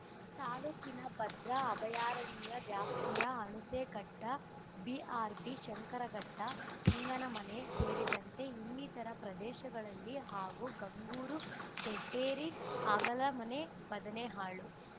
ತಾಲೂಕಿನ ಭದ್ರಾ ಅಭಯಾರಣ್ಯ ವ್ಯಾಪ್ತಿಯ ಹುಣಸೆಘಟ್ಟ ಬಿಆರ್‌ಪಿ ಶಂಕರಘಟ್ಟ ಸಿಂಗನಮನೆ ಸೇರಿದಂತೆ ಇನ್ನಿತರ ಪ್ರದೇಶಗಳಲ್ಲಿ ಹಾಗೂ ಗಂಗೂರು ದೊಡ್ಡೇರಿ ಅಗಲಮನೆ ಬದನೆಹಾಳು